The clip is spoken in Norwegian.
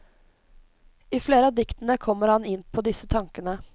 I flere av diktene kommer han inn på disse tankene.